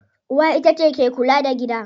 Uwa itace ke kula da gida.